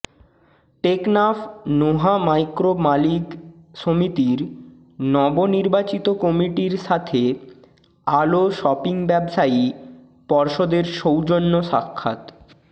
Teknaf Noah micro মালিক সমিতির নব নির্বাচিত কমিটির সাথে আলো শপিং ব্যবসায়ী পর্ষদের সৌজন্য স্বাক্ষাত